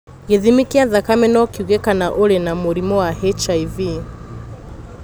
Gĩthimi kĩa thakame no kiuge kana ũrĩ na mũrimũ wa HIV.